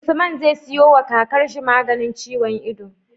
Usman zai siyo wa kakar shi maganin ciwon ido